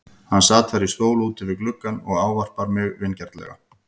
Hann sat þar í stól úti við gluggann og ávarpar mig vingjarnlega.